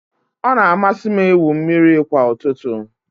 Ọ na-amasị m ịwụ mmiri kwa ụtụtụ